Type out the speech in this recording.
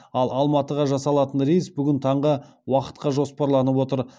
ал алматыға жасалатын рейс бүгін таңғы уақытқа жоспарланып отыр